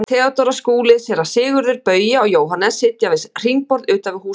Theodóra, Skúli, Séra Sigurður, Bauja og Jóhannes sitja við hringborð utan við hús Skúla.